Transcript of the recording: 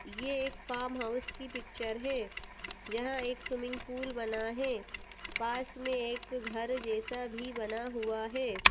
यह एक farm house की पिक्चर है। जहां एक स्विमिंग पूल बना है। पास में एक घर जैसा भी बना हुआ है।